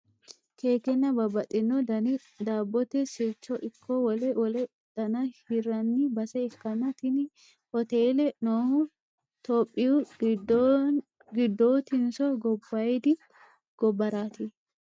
keekenna babbaxino dani daabbote sirchono ikko wole wole dana hirranni base ikkanna, tini hotele noohu tophiyu giddootinso gobbaayidi gobbaraati ?